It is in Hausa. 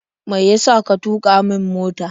Me yasa ka tuƙa min mota?